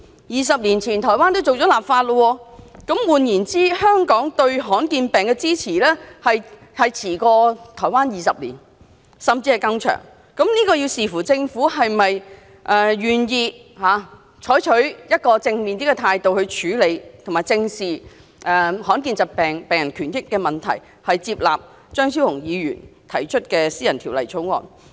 二十年前，台灣已經立法，換言之，香港對罕見病的支持落後台灣20年，甚至更長，視乎政府是否願意用正面態度來處理罕見病，以及正視罕見病病人權益，接納張超雄議員提出的私人條例草案。